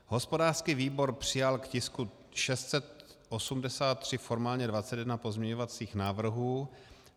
Hospodářský výbor přijal k tisku 683 formálně 21 pozměňovacích návrhů.